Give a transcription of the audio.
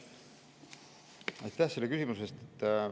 Aitäh selle küsimuse eest!